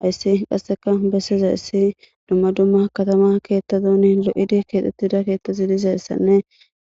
Haysi qase besizaysi dumma dumma katama kethatane qalamen lo'etidi kexetida kethati dizaysane